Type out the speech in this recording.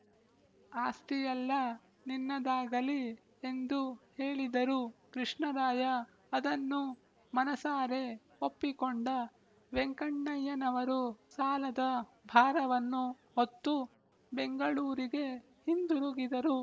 ಆಸ್ತಿಯೆಲ್ಲ ನಿನ್ನದಾಗಲಿ ಎಂದು ಹೇಳಿದರು ಕೃಷ್ಣರಾಯ ಅದನ್ನು ಮನಸಾರೆ ಒಪ್ಪಿಕೊಂಡ ವೆಂಕಣ್ಣಯ್ಯನವರು ಸಾಲದ ಭಾರವನ್ನು ಹೊತ್ತು ಬೆಂಗಳೂರಿಗೆ ಹಿಂದಿರುಗಿದರು